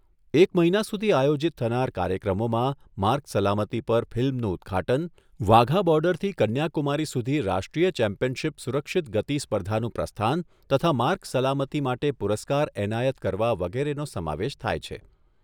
એક મહિના સુધી આયોજીત થનાર કાર્યક્રમોમાં માર્ગ સલામતી પર ફિલ્મનું ઉદ્ઘાટન, વાઘા બોર્ડરથી કન્યાકુમારી સુધી રાષ્ટ્રીય ચેમ્પયનશીપ સુરક્ષિત ગતિ સ્પર્ધાનું પ્રસ્થાન તથા માર્ગ સલામતી માટે પુરસ્કાર એનાયત કરવા વગેરેનો સમાવેશ થાય છે.